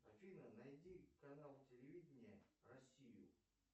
афина найди канал телевидения россию